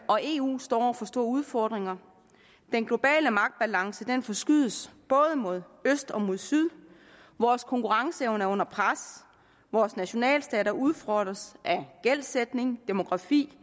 og eu står over for store udfordringer den globale magtbalance forskydes både mod øst og mod syd vores konkurrenceevne er under pres vores nationalstater udfordres af gældsætning og demografi